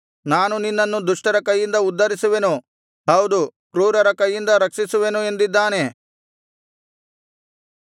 ನಾನು ನಿನ್ನನ್ನು ದುಷ್ಟರ ಕೈಯಿಂದ ಉದ್ಧರಿಸುವೆನು ಹೌದು ಕ್ರೂರರ ಕೈಯಿಂದ ರಕ್ಷಿಸುವೆನು ಎಂದಿದ್ದಾನೆ